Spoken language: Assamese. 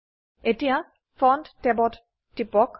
এতিয়া ফন্ট ট্যাবত টিপক